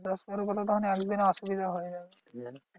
দশ এগারো পাতাতো একদিনে অসুবিধা হয়ে যায়।